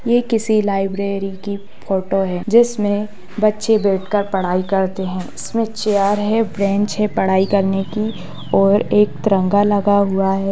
यह किसी लाइब्रेरी की फोटो है जिसमे बच्चे बैठकर पढ़ाई करते हैं| इसमे चैयर है बेंच है पढ़ाई कर ने की और एक तिरंगा लगा हुआ है।